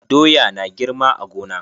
Doya na girma a gona.